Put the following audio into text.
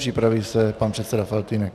Připraví se pan předseda Faltýnek.